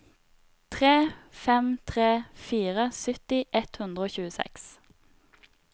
tre fem tre fire sytti ett hundre og tjueseks